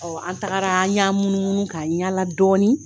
an tagara an ɲ'an munmunu k'an ɲala dɔɔnin